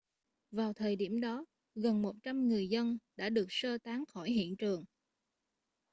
vào thời điểm đó gần 100 người dân đã được sơ tán khỏi hiện trường